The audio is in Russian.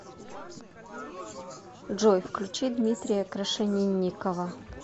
джой включи дмитрия крашенинникова